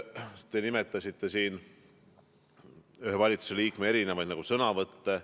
Te märkisite siin ühe valitsusliikme erinevaid sõnavõtte.